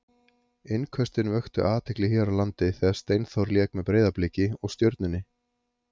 Innköstin vöktu athygli hér á landi þegar Steinþór lék með Breiðabliki og Stjörnunni.